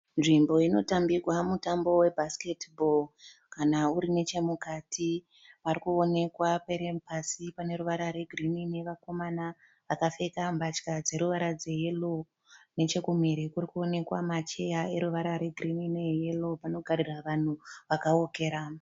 Nzvimbo inotambirwa mutambo webhasiketibhoro. Kana uri nechemukati pari kuonekwa paine pasi pane ruvara rwegirini nevakomana vakapfeka mbatya dzeruvara dzeyero. Nechekumhiri kuri kuonekwa macheya eruvara rwegirini neyero panogarira vanhu vakawokera.